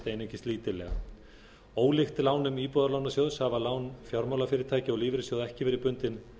einungis lítillega ólíkt lánum íbúðalánasjóðs hafa lán fjármálafyrirtækja og lífeyrissjóða ekki verið bundin